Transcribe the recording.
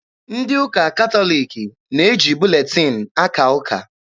Ndị ụka katọliki na-eji buletin akaa ụka.